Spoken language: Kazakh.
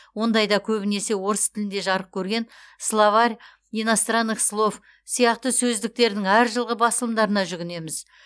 ондайда көбінесе орыс тілінде жарық көрген словарь иностранных слов сияқты сөздіктердің әр жылғы басылымдарына жүгінеміз